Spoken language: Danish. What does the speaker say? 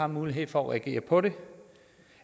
mulighed for at agere på det